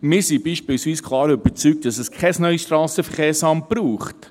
Wir sind beispielsweise klar davon überzeugt, dass es kein neues SVSA braucht.